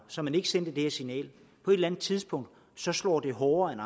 så man ikke sendte det her signal på et eller andet tidspunkt slår det hårdere end